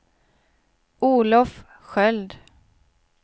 Olof Sköld